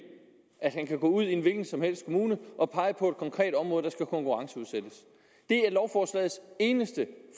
til at gå ud i en hvilken som helst kommune og pege på et konkret område der skal konkurrenceudsættes det er lovforslagets eneste